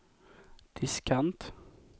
diskant